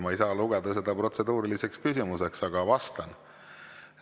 Ma ei saa lugeda seda protseduuriliseks küsimuseks, aga vastan.